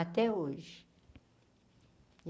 Até hoje.